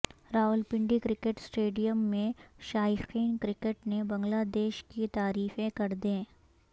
Rawalpindi cricket stadium میں شائقین cricket نے بنگلہ دیش کی تعریفیں کر دیں